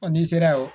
n'i sera ye o